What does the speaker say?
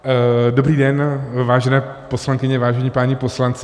Dobrý den, vážené poslankyně, vážení páni poslanci.